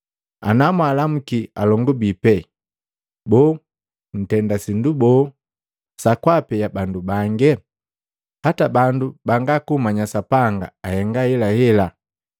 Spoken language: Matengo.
Ana mwaalamuki alongu bii pena, boo ntenda sindu boo sakwaapea bandu bange? Hata bandu banga kummanya Sapanga, ahenga ahelahela.